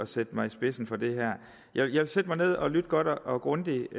sætte mig i spidsen for det her jeg vil sætte mig ned og lytte godt og grundigt